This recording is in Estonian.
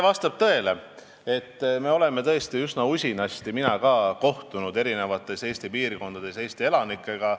Vastab tõele, et me oleme tõesti üsna usinasti kohtunud Eesti eri piirkondades Eesti elanikega.